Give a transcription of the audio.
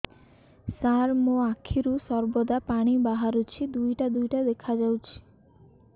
ସାର ମୋ ଆଖିରୁ ସର୍ବଦା ପାଣି ବାହାରୁଛି ଦୁଇଟା ଦୁଇଟା ଦେଖାଯାଉଛି